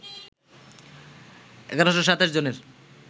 ১১২৭ জনের